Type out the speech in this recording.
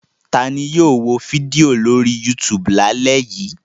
Ta ni yóò wo fídíò lórí YouTube lálẹ́ yìí?